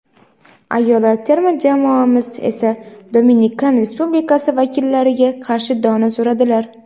ayollar terma jamoamiz esa Dominikan Respublikasi vakillariga qarshi dona suradilar.